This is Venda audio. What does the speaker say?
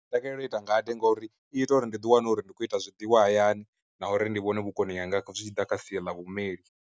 Ndi takalela u ita ngade ngauri i ita uri ndi ḓi wane uri ndi khou ita zwiḽiwa hayani na uri ndi vhone vhukoni hanga zwi tshi ḓa kha sia ḽa vhumeli.